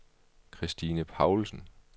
Christine Paulsen